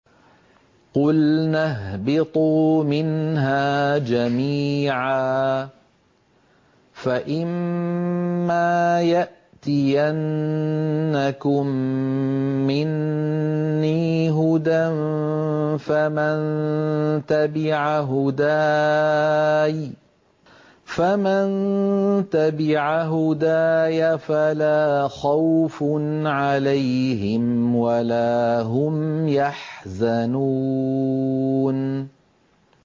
قُلْنَا اهْبِطُوا مِنْهَا جَمِيعًا ۖ فَإِمَّا يَأْتِيَنَّكُم مِّنِّي هُدًى فَمَن تَبِعَ هُدَايَ فَلَا خَوْفٌ عَلَيْهِمْ وَلَا هُمْ يَحْزَنُونَ